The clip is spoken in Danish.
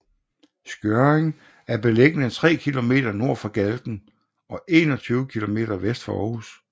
Skjørring er beliggende tre kilometer nord for Galten og 21 kilometer vest for Aarhus